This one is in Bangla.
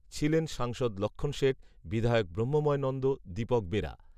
ছিলেন সাংসদ লক্ষণ শেঠ, বিধায়ক ব্রহ্মময় নন্দ, দীপক বেরা